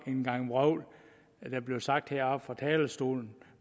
en gang vrøvl der blev sagt her fra talerstolen